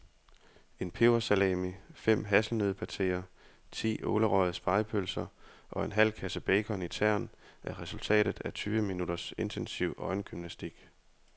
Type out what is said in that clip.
En pebersalami, fem hasselnøddepateer, ti ålerøgede spegepølser og en halv kasse bacon i tern er resultatet af tyve minutters intensiv øjengymnastik.